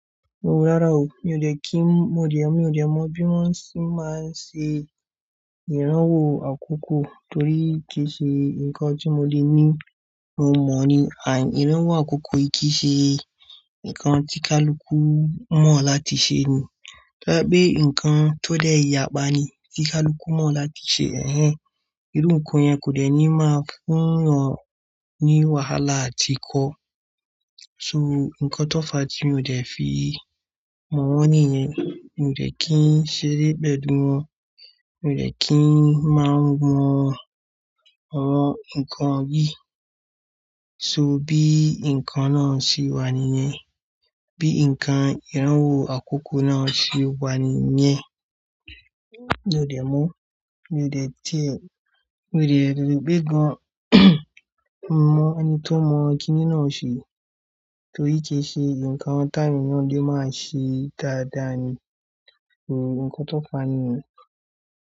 Rárá o, mi ò de kí n mọ, mi ò de mọ bí wọ́n ṣe máa ń ṣe ìrànwọ́ àkókò torí kì í ṣe nǹkan tí mo le ní mo mọ̀ ni. Àìní ìrànwọ́ àkókò kì í ṣe nǹkan tí kaluku mọ̀ láti ṣe ní. Tóbá se pé nǹkan tó dẹ̀ yàpá ni tí kaluku mọ̀ láti ṣe. Ẹ̀hẹn, irú nǹkan yẹn kò dẹ̀ ní máa fún ọ ní wàhálà àti ikọ́. So nǹkan tó fàá tí mi ò de fi mọ̀ wọ́n nìyẹn. Mi ò de kí ń ṣeré pẹ̀lú wọn, mi ò de kí ń máa mọ ọ̀rọ̀ ǹkan yí. So bí nǹkan náà ṣe wà níyẹn, bí nǹkan ìrànwọ́ àkókò náà ṣe wà níyẹn, mi ò de mọ̀, mi ò de tẹ̀, mi ò de rí gbẹ́ gan mọ̀ ẹni tó mọ̀ kínní náà ṣe torí kì í ṣe nǹkan tàwon eeyàn lè máa ṣe dáadáa ni. Nǹkan tó fàá nìyẹn.